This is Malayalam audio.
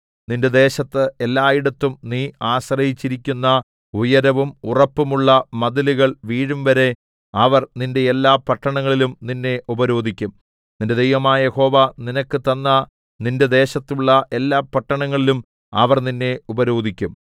നിന്റെ ദേശത്ത് എല്ലായിടവും നീ ആശ്രയിച്ചിരിക്കുന്ന ഉയരവും ഉറപ്പുമുള്ള മതിലുകൾ വീഴുംവരെ അവർ നിന്റെ എല്ലാ പട്ടണങ്ങളിലും നിന്നെ ഉപരോധിക്കും നിന്റെ ദൈവമായ യഹോവ നിനക്ക് തന്ന നിന്റെ ദേശത്തുള്ള എല്ലാ പട്ടണങ്ങളിലും അവർ നിന്നെ ഉപരോധിക്കും